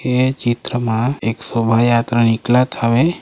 ये चित्र म एक सोभा यात्रा निकलत हवे।